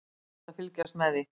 Ótrúlegt að fylgjast með því.